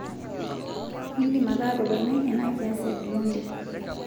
idim ake atoponai ena kias e Omondi